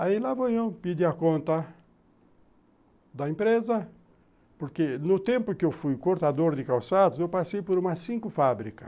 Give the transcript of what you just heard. Aí lá vou eu pedir a conta da empresa, porque no tempo que eu fui cortador de calçados, eu passei por umas cinco fábricas.